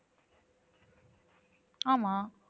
ஆமா